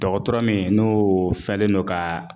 Dɔgɔtɔrɔ min n'o fɛlen do ka